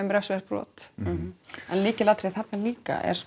refsivert brot en lykilatriði þarna er líka